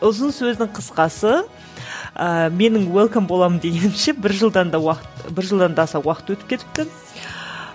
ұзын сөздің қысқасы ыыы менің уэлкэм боламын дегенше бір жылдан да уақыт бір жылдан да аса уақыт өтіп кетіпті